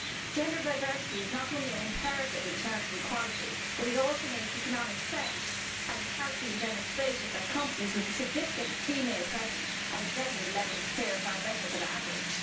Gender diversity is not only an imperative in terms of equality, but it also makes economic sense as it has been demonstrated that companies with a significant female presence at executive levels fare far better than average.